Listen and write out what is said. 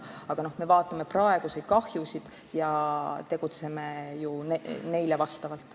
Aga me vaatame praeguseid kahjusid ja tegutseme neile vastavalt.